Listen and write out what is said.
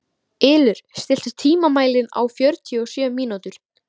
Ylur, stilltu tímamælinn á fjörutíu og sjö mínútur.